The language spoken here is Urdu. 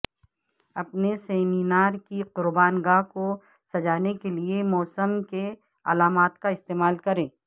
اپنے سیمینار کی قربان گاہ کو سجانے کے لئے موسم کے علامات کا استعمال کریں